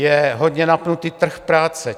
Je hodně napnutý trh práce.